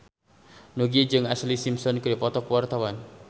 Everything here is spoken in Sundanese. Nugie jeung Ashlee Simpson keur dipoto ku wartawan